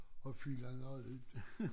At fylde noget ud